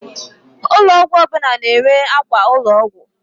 Ụlọ ọgwụ ọbụla na-enwe àkwà ụlọọgwụ.